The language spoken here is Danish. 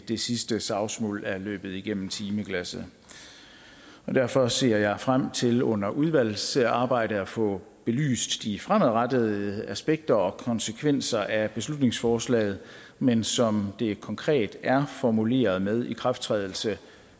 det sidste savsmuld er løbet igennem timeglasset derfor ser jeg frem til under udvalgsarbejdet at få belyst de fremadrettede aspekter og konsekvenser af beslutningsforslaget men som det konkret er formuleret med ikrafttrædelse